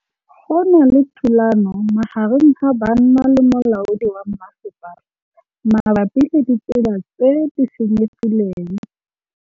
Go na le thulanô magareng ga banna le molaodi wa masepala mabapi le ditsela tse di senyegileng.